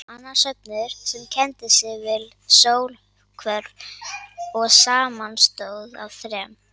Annar söfnuður, sem kenndi sig við sólhvörf og samanstóð af þrem